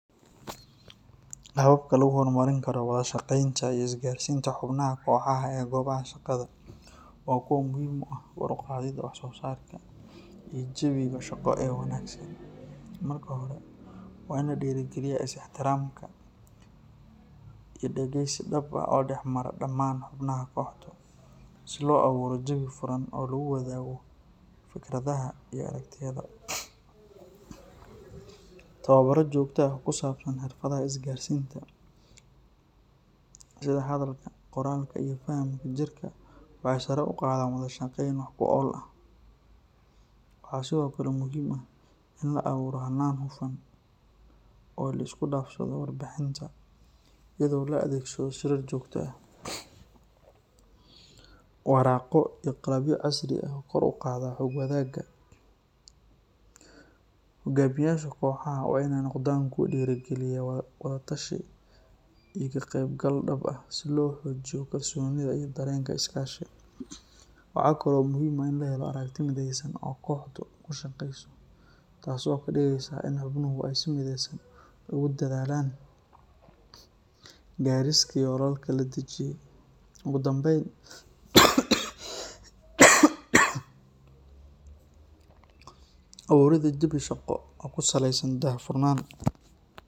Hababka lagu horumarin karo wada-shaqeynta iyo isgaarsiinta xubnaha kooxaha ee goobaha shaqada waa kuwo muhiim u ah kor u qaadidda wax soo saarka iyo jawiga shaqo ee wanaagsan. Marka hore, waa in la dhiirrigeliyaa is-ixtiraamka iyo dhageysi dhab ah oo dhexmara dhammaan xubnaha kooxdu, si loo abuuro jawi furan oo lagu wadaago fikradaha iyo aragtiyada. Tababarro joogto ah oo ku saabsan xirfadaha isgaarsiinta, sida hadalka, qoraalka, iyo fahamka jirka, waxay sare u qaadaan wada-shaqeyn wax ku ool ah. Waxaa sidoo kale muhiim ah in la abuuro hannaan hufan oo la isku dhaafsado warbixinta, iyadoo la adeegsado shirar joogto ah, waraaqo iyo qalabyo casri ah oo kor u qaada xog wadaaga. Hogaamiyeyaasha kooxaha waa inay noqdaan kuwo dhiirrigeliya wada-tashi iyo ka-qaybgal dhab ah, si loo xoojiyo kalsoonida iyo dareenka iskaashi. Waxaa kaloo muhiim ah in la helo aragti midaysan oo kooxdu ku shaqeyso, taasoo ka dhigaysa in xubnuhu ay si mideysan ugu dadaalaan gaarista yoolalka la dejiyay. Ugu dambeyn, abuuridda jawi shaqo oo ku saleysan daahfurnaan.